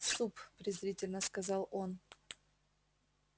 суп презрительно сказал он